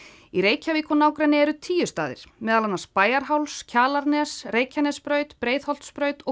í Reykjavík og nágrenni eru tíu staðir meðal annars Bæjarháls Kjalarnes Reykjanesbraut Breiðholtsbraut og